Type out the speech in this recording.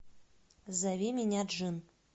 зови меня джинн